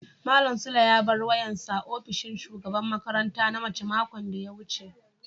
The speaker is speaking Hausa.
malam sule ya bar wayan sa a opishin shugaban makaranta na mace makon da ya wuce.